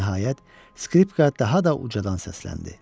Nəhayət, skripka daha da ucadan səsləndi.